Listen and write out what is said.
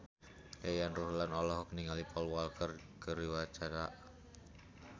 Yayan Ruhlan olohok ningali Paul Walker keur diwawancara